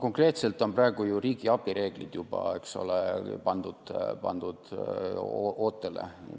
Konkreetselt on praegu ju riigiabireeglid pandud ootele.